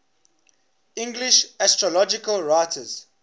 english astrological writers